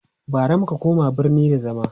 bara muka koma birni da zama